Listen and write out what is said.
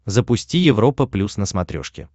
запусти европа плюс на смотрешке